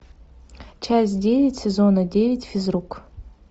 часть девять сезона девять физрук